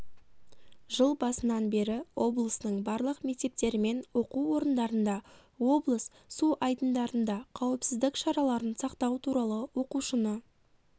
жыл басынан бері облыстың барлық мектептерімен оқу орындарында облыс су айдындарында қауіпсіздік шараларын сақтау туралы оқушыны